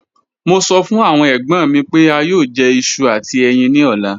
Mo sọ fun awon egbon mi pe a yoo jẹ iṣu ati ẹyin ni ọla.